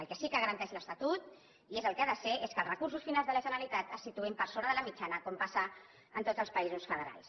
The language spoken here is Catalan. el que sí que garanteix l’estatut i és el que ha de ser és que els recursos finals de la generalitat se situïn per sobre de la mitjana com passa en tots els països federals